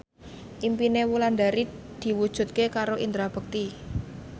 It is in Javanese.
impine Wulandari diwujudke karo Indra Bekti